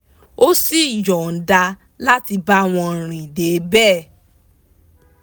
ó sì yọnda láti bá wọn rì dé bẹ́ẹ̀